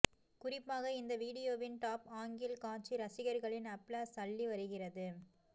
குறிப்பாக இந்த வீடியோவின் டாப் ஆங்கில் காட்சி ரசிகர்களின் அப்ளாஸ் அள்ளி வருகிறது